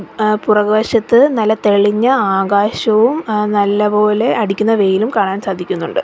ഏഹ് പുറകുവശത്ത് നല്ല തെളിഞ്ഞ ആകാശവും ഏഹ് നല്ലപോലെ അടിക്കുന്ന വെയിലും കാണാൻ സാധിക്കുന്നുണ്ട്.